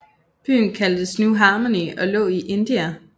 Byen kaldtes New Harmony og lå i Indiana